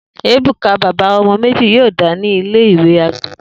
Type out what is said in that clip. Ebuka, baba ọmọ meji, yọọda ni ile-iwe agbegbe.